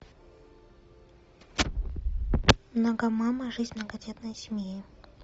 многомама жизнь многодетной семьи